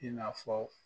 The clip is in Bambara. I n'a fɔ